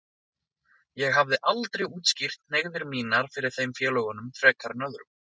Ég hafði aldrei útskýrt hneigðir mínar fyrir þeim félögunum frekar en öðrum.